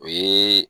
O ye